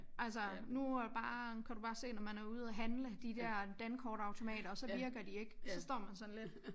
Altså nu er bare kan du bare se når man er ude og handle de dér dankortautomater så virker de ikke og så står man sådan lidt